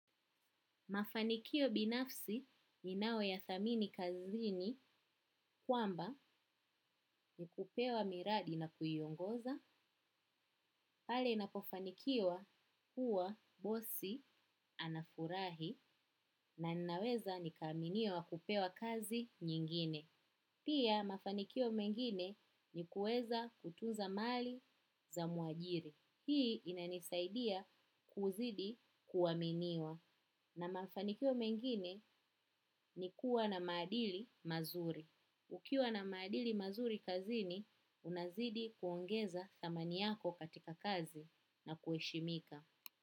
Mafanikio binafsi ninyothamini kazini kwamba ni kupewa miradi na kuiongoza pale ninapofanikiwa huwa bosi anafurahi na ninaweza ni kaminiwa kupewa kazi nyingine. Pia mafanikio mengine ni kuweza kutunza mali za mwajiri. Hii inanisaidia kuzidi kuaminiwa. Na mafanikio mengine ni kuwa na maadili mazuri. Ukiwa na maadili mazuri kazini, unazidi kuongeza thamani yako katika kazi na kuheshimika.